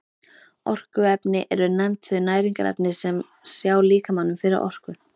Orkuefni eru nefnd þau næringarefni sem sjá líkamanum fyrir orku.